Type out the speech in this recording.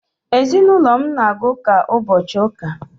ezinulo m na-aga uka ubochi uka